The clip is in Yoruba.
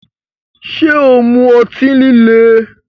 Ṣé o mu ọtí líle?